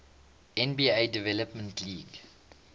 nba development league